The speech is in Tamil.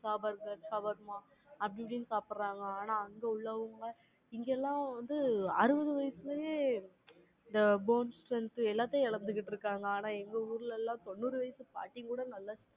sawarma இப்படின்னு சாப்பிடுறாங்க. ஆனா, அங்க உள்ளவங்க, இங்கெல்லாம் வந்து, அறுபது வயசுலயே, இந்த bones strength எல்லாத்தையும் இழந்துகிட்டு இருக்காங்க. ஆனா, எங்க ஊர்ல எல்லாம், தொண்ணூறு வயசு பாட்டி கூட, நல்லா